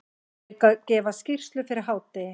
Þeir gefa skýrslu fyrir hádegi.